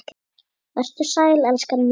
Vertu sæl, elskan mín.